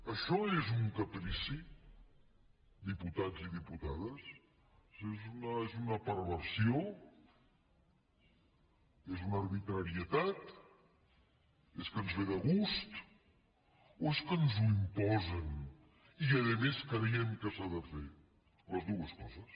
això és un caprici diputats i diputades és una perversió és una arbitrarietat és que ens ve de gust o és que ens ho imposen i a més creiem que s’ha de fer les dues coses